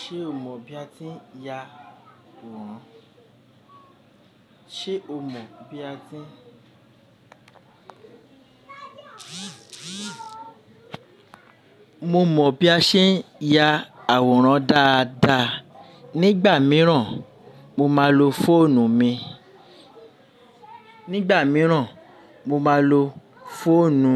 Ṣé o mọ̀ bí a ti ń ya àwòrán? Sé o mọ̀ bí a ti ń. Mo mọ̀ bí a ṣe ń ya àwòrán dáadáa. Nígbà míràn, mo máa lo fóònù mi. Nígbà míràn, mo máa lo fóònù